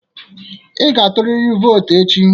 Ị ga-tụrịrị vootu echi.